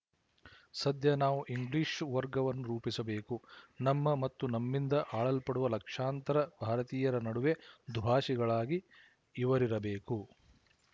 ಸದ್ಯ ನಾವು ಇಂಗ್ಲಿಶು ವರ್ಗವನ್ನು ರೂಪಿಸಬೇಕು ನಮ್ಮ ಮತ್ತು ನಮ್ಮಿಂದ ಆಳಲ್ಪಡುವ ಲಕ್ಶಾಂತರ ಭಾರತೀಯರ ನಡುವೆ ದುಭಾಶಿಗಳಾಗಿ ಇವರಿರಬೇಕು